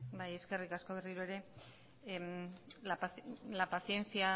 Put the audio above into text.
bai eskerrik asko berriro ere la paciencia